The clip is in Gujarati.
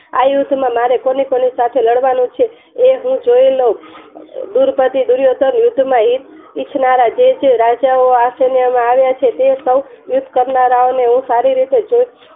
આ યુદ્ધમાં મારે કોની કોની સાથે લડાય કરવાનું છે તે હું જોય ન લવ દુર્ધતી દુર્યોધન યુદ્ધમાં ઇચ્છનારા જે તે રાજા ઓ આ સેનાએ માં આવ્યા છે તે સોવ યુદ્ધ કરનારા ઓને હું સારી રીતે